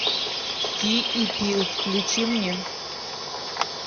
ки и пил включи мне